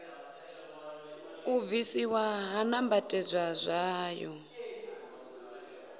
u bvisiwa ha nambatedzwa tswayo